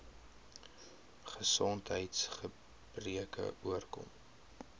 gesondheids gebreke oorkom